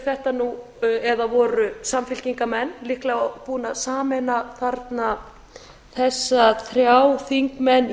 þetta nú eða voru samfylkingarmenn líklega búin að sameina þarna þessa þrjá þingmenn